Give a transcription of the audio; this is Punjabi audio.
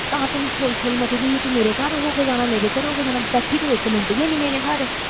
ਤਾਂ ਤੈਨੂੰ ਛੋਲ ਛੋਲ ਮਚਦੀ ਸੀ ਤੂੰ ਮੇਰੇ ਘਰ ਹੋ ਕੇ ਜਾਣਾ, ਮੇਰੇ ਘਰ ਹੋ ਕੇ ਜਾਣਾ, ਬੈਠੀ ਤੂੰ ਇੱਕ ਮਿੰਟ ਵੀ ਹੈਨੀ ਮੇਰੇ ਘਰ।